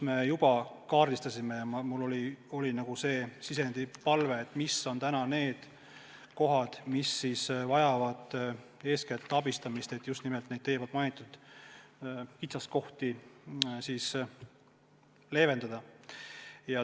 Me kaardistasime minu palvel, mis on need kohad, mis vajavad eeskätt abistamist, et ka neid teie mainitud kitsaskohti kõrvaldada.